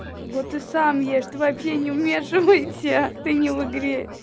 вот и сам ешь ты вообще не вмешивайся ты не в игре